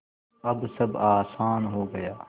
अब सब आसान हो गया